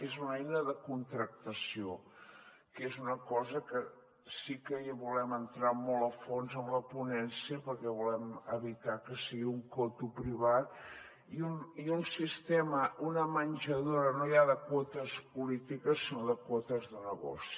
és una eina de contractació que és una cosa que si que hi volem entrar molt a fons amb la ponència perquè volem evitar que sigui un coto privat i un sistema una menjadora no ja de quotes polítiques sinó de quotes de negoci